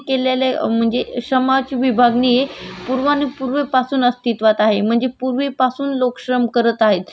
आणि तेव्हापासून श्रमाची विभागणी केली जाते पण आत्ता पण श्रमाची विभागणी बौद्धिक शैक्षणिक बौद्धिक